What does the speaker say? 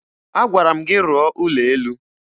Agwara m gị rụọ ụlọ elu!